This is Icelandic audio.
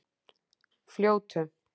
Fljótum